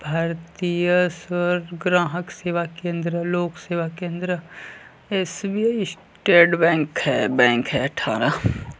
भारतीय सर ग्राहक सेवा केंद्र लोक सेवा केंद्र एस.बी.आई स्टेट बैंक है बैंक है थाना --